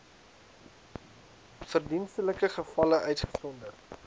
verdienstelike gevalle uitgesonderd